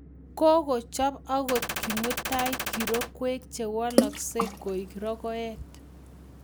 Kokochop angot kimutai kirokwek che walaksei koek rokoet